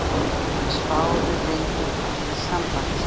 Menn spáðu lengi falli Sambandsins